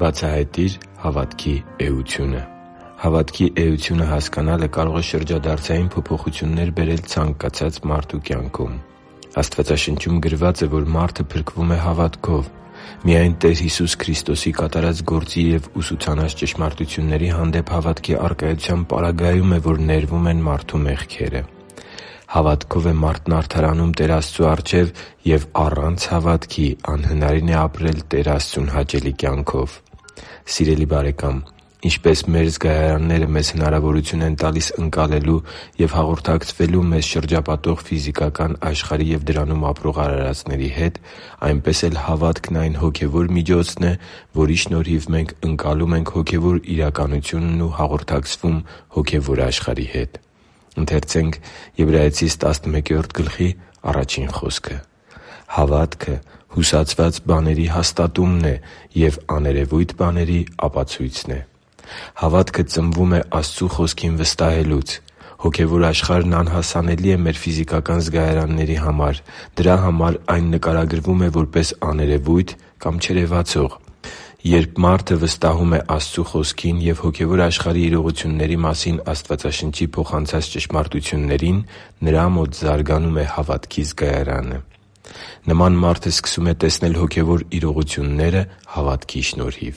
Բացահայտի՛ր հավատքի էությունը Հավատքի էությունը հասկանալը կարող է շրջադարձային փոփոխություններ բերել ցանկացած մարդու կյանքում։ Աստվածաշնչում գրված է, որ մարդը փրկվում է հավատքով։ Միայն Տեր Հիսուս Քրիստոսի կատարած գործի և ուսուցանած ճշմարտությունների հանդեպ հավատքի առկայության պարագայում է, որ ներվում են մարդու մեղքերը։ Հավատքով է մարդն արդարանում Տեր Աստծու առջև, և առանց հավատքի անհնարին է ապրել Տեր Աստծուն հաճելի կյանքով։ Սիրելի՛ բարեկամ, ինչպես մեր զգայարանները մեզ հնարավորություն են տալիս ընկալել և հաղորդակցվել մեզ շրջապատող ֆիզիկական աշխարհի և դրանում ապրող արարածների հետ, այնպես էլ հավատքն այն հոգևոր միջոցն է, որի շնորհիվ մենք ընկալում ենք հոգևոր իրականությունն ու հաղորդակցվում հոգևոր աշխարհի հետ։ «Հավատը հուսացված բաների հաստատումն ու աներևույթ բաների ապացույցն է» (Եբրայեցիս 11.1)։ Հավատքը ծնվում է Աստծու Խոսքին վստահելուց։ Հոգևոր աշխարհն անհասանելի է մեր ֆիզիակական զգայարանների համար։ Դրա համար այն նկարագրվում է որպես աներևույթ կամ չերևացող։ Երբ մարդը վստահում է Աստծու Խոսքին և հոգևոր աշխարհի իրողությունների մասին Աստվածաշնչի փոխանցած ճշմարտություններին, նրա մոտ զարգանում է հավատքի զգայարանը։ Նման մարդը սկսում է տեսնել հոգևոր իրողությունները հավատքի շնորհիվ։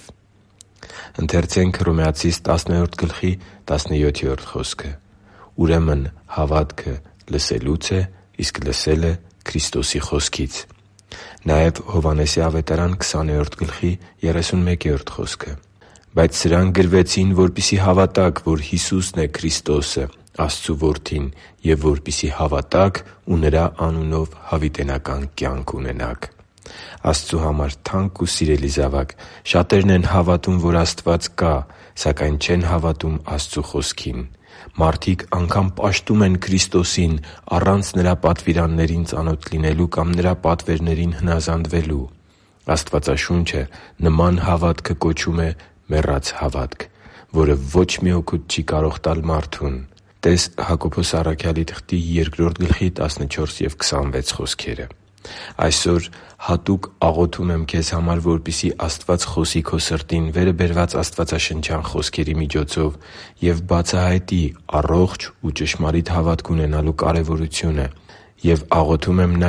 «Ուրեմն հավատը լսելուց է, իսկ լսելը՝ Քրիստոսի խոսքից» (Հռոմեացիս 10.17)։ «Բայց սրանք գրվեցին, որպեսզի հավատաք, որ Հիսուսն է Քրիստոսը՝ Աստծու Որդին, և որպեսզի հավատաք ու Նրա անունով հավիտենական կյանք ունենաք» (Հովհաննես 20.31)։ Աստծու համար թանկ ու սիրելի՛ զավակ, շատերն են հավատում, որ Աստված կա, սակայն չեն հավատում Աստծու Խոսքին։ Մարդիկ անգամ պաշտում են Քրիստոսին՝ առանց Նրա պատվիրաններին ծանոթ լինելու կամ Նրա պատվերներին հնազանդվելու։ Աստվածաշունչը նման հավատքը կոչում է մեռած հավատք, որը ո՛չ մի օգուտ չի կարող տալ մարդուն (տե՛ս Հակոբոս 2.14,26 խոսքերը)։ Այսօր հատուկ աղոթում եմ քեզ համար, որպեսզի Աստված խոսի քո սրտին վերը բերված աստվածաշնչյան խոսքերի միջոցով և բացահայտի առողջ ու ճշմարիտ հավատք ունենալու կարևորությունը։ Եվ աղոթում եմ նաև,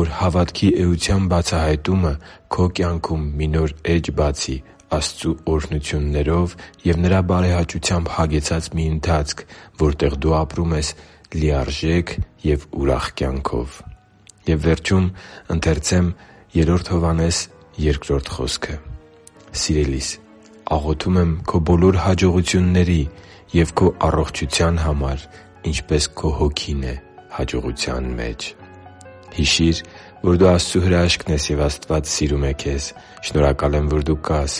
որ հավատքի էության բացահայտումը քո կյանքում մի նոր էջ բացի՝ Աստծու օրհնություններով և Նրա բարեհաճությամբ հագեցած մի ընթացք, որտեղ դու ապրում ես լիարժեք և ուրախ կյանքով։ «Սիրելի՛ս, աղոթում եմ քո բոլոր հաջողությունների և քո առողջության համար, ինչպես քո հոգին է հաջողության մեջ» (Գ Հովհաննես 2)։ Հիշի՛ր, որ դու Աստծո հրաշքն ես, և Աստված սիրում է քեզ։ Շնորհակալ եմ, որ դու կա՛ս